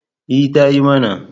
E, ta yi mana.